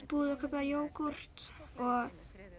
búð og kaup jógúrt og